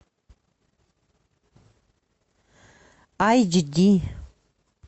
айч ди